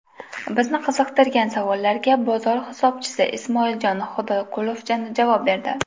Bizni qiziqtirgan savollarga bozor hisobchisi Ismoiljon Xudoyqulov javob berdi.